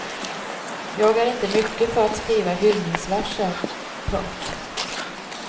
Jag är inte mycket för att skriva hyllningsverser. punkt